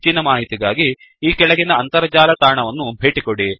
ಹೆಚ್ಚಿನ ಮಾಹಿತಿಗಾಗಿ ಈ ಕೆಳಗಿನ ಅಂತರ್ಜಾಲ ತಾಣವನ್ನು ಭೇಟಿಕೊಡಿ